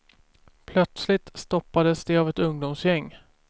Plötsligt stoppades de av ett ungdomsgäng.